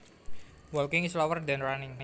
Walking is slower than running